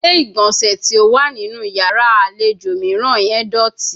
Ile-igbọnsẹ ti o wa ninu yara alejo miiran ye doti